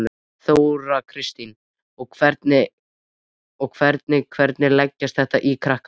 Þóra Kristín: Og hvernig, hvernig leggst þetta í krakkana?